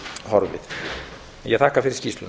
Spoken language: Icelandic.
horfið en ég þakka fyrir skýrsluna